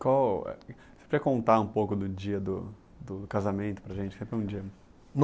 Você quer contar um pouco do dia do do casamento para a gente?